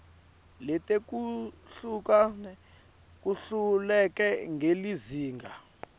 letehlukene kuhleleke ngelizinga